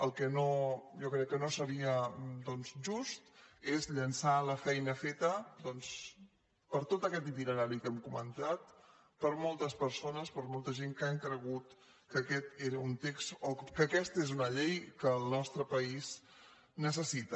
el que jo crec que no seria just és llençar la feina fe·ta doncs per tot aquest itinerari que hem comentat per moltes persones per molta gent que han cregut que aquest era un text o que aquesta una llei que el nostre país necessita